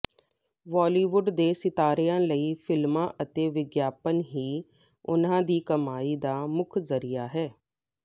ਬਾਲੀਵੁੱਡ ਦੇ ਸਿਤਾਰਿਆਂ ਲਈ ਫਿਲਮਾਂ ਅਤੇ ਵਿਗਿਆਪਨ ਹੀ ਉਹਨਾਂ ਦੀ ਕਮਾਈ ਦਾ ਮੁੱਖ ਜ਼ਰੀਆ ਹੈ